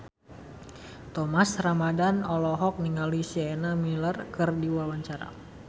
Thomas Ramdhan olohok ningali Sienna Miller keur diwawancara